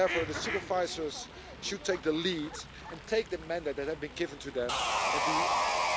Therefore, the supervisors should take the lead and take the mandate that had been given to them and to